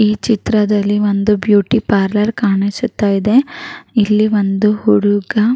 ಈ ಚಿತ್ರದಲ್ಲಿ ಒಂದುಬ್ಯೂಟಿ ಪಾರ್ಲರ್ ಕಾಣಿಸುತ್ತ ಇದೆ ಇಲ್ಲಿ ಒಂದು ಹುಡುಗ --